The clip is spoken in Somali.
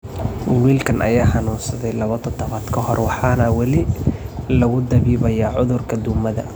Wiilkan ayaa xanuunsaday labo todobaad ka hor, waxaana weli lagu dabiibayaa cudurka duumada.